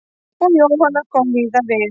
Og Jóhanna kom víða við.